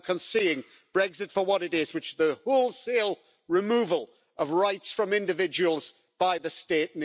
We are now seeing Brexit for what it is, namely the wholesale removal of rights from individuals by the state.